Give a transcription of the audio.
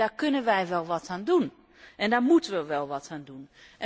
Daar kunnen wij wel wat aan doen en daar moeten wij wel wat aan doen.